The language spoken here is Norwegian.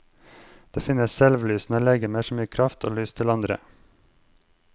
Det finnes selvlysende legemer som gir kraft og lys til andre.